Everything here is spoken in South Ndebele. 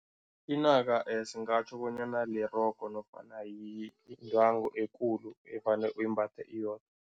Inaka singatjho bonyana lirogo nofana yindwangu ekulu evane uyimbathe yodwa.